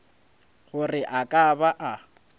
gore a ka ba a